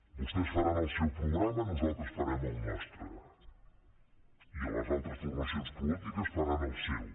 vostès faran el seu programa nosaltres farem el nostre i les altres formacions polítiques faran el seu